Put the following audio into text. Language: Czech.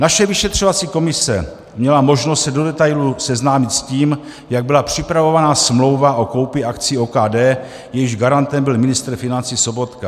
Naše vyšetřovací komise měla možnost se do detailu seznámit s tím, jak byla připravována smlouva o koupi akcií OKD, jejímž garantem byl ministr financí Sobotka.